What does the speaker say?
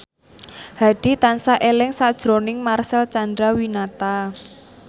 Hadi tansah eling sakjroning Marcel Chandrawinata